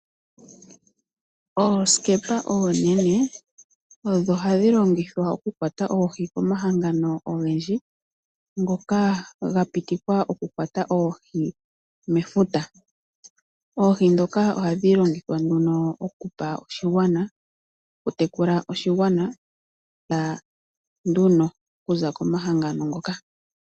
Oosikepa oonene odho hadhi longithwa okukwata oohi komahangano ogendji ngoka ga pitikwa okukwata oohi mefuta. Oohi dhoka ohadhi longithwa nduno okupa oshigwana, okutekula oshigwana na nduno okuza komahangano ngoka.